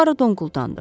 Puaro donquldandı.